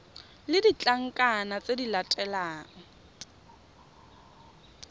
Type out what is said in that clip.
le ditlankana tse di latelang